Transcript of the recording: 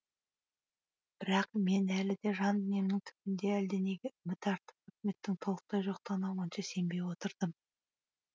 бірақ мен әлі де жан дүниемнің түбінде әлденеге үміт артып үкіметтің толықтай жоқтығына онша сенбей отырдым